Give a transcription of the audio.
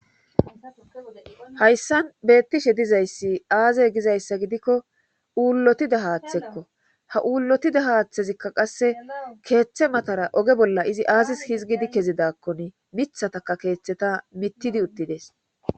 Hayssan beettishe dizayssi aaze gizayssa gidikko uullotida haaththekko ha uullotida haaththezikka qasse keeththe matara oge bolla izi aazis hizgidi kezidakkon mithataka keeththeta mittidi uttides